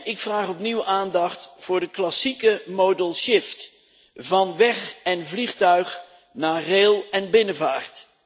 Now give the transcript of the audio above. Ik vraag opnieuw aandacht voor de klassieke modal shift van weg en vliegtuig naar rail en binnenvaart.